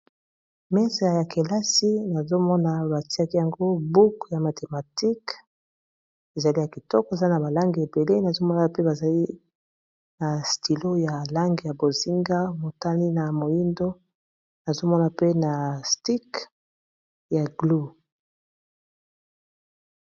mesa ya kelasi nazomona batiaki yango buku ya mathematike ezali ya kitoko eza na balange ebele nazomona pe bazali na stilo ya lange ya bozinga motali na moindo azomona pe na stik ya glou